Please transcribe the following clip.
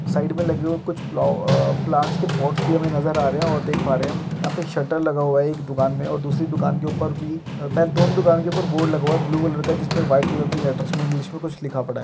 Side में लगी हुई कुछ पुलाव आ प्लांट्स के पोट्स हमें नजर आ रहे हैं और देख पा रहे हम यहां पे शटर लगा हुआ है। एक दुकान मे और दूसरी दुकान के ऊपर भी बस दोनों दुकान के ऊपर बोर्ड लगा हुआ है ब्लू कलर का जिसमें व्हाइट कलर के लैटर्स मै इंग्लिश मै कुछ लिखा पड़ा है।